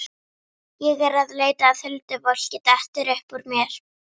Ég er að leita að huldufólki, dettur upp úr mér.